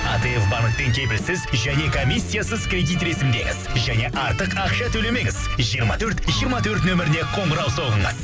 атф банктен кепілсіз және комиссиясыз кредит ресімдеңіз және артық ақша төлемеңіз жиырма төрт жиырма төрт нөміріне қоңырау соғыңыз